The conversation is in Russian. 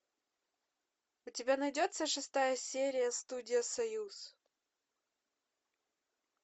у тебя найдется шестая серия студия союз